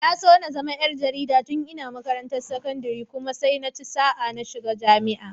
Na so na zama ƴar jarida tun ina makarantar sakandire kuma sai naci sa'a na samu shiga jami'a.